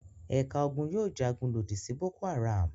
Ẹ̀ka ogun yóò jagun lòdì sí Boko-Haram.